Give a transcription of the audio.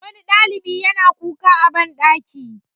wani ɗalibi ya yana kuka a banɗaki